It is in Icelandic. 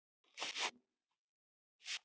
Ýmis svið.